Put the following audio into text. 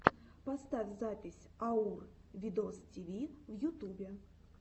поставь запись аур видостиви в ютубе